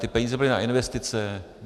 Ty peníze byly na investice.